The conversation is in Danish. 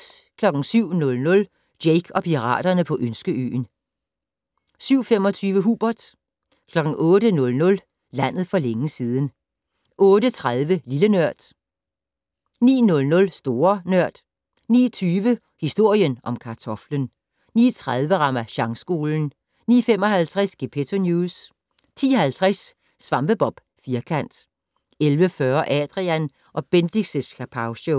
07:00: Jake og piraterne på Ønskeøen 07:25: Hubert 08:00: Landet for længe siden 08:30: Lille Nørd 09:00: Store Nørd 09:20: Historien om kartoflen 09:30: Ramasjangskolen 09:55: Gepetto News 10:50: SvampeBob Firkant 11:40: Adrian & Bendix' Kapowshow